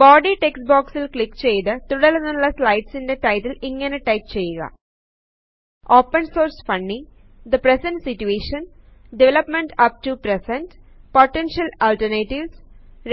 body text boxൽ click ചെയ്തു തുടര്ന്നുള്ള സ്ലയട്സിന്റെ ടൈറ്റിൽ ഇങ്ങനെ ടൈപ്പ് ചെയ്യുക160 open source funny the present situation development up to present potential alternatives